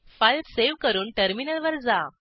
file save करून टर्मिनलवर जा